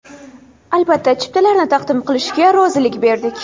Albatta, chiptalarni taqdim qilishga rozilik berdik.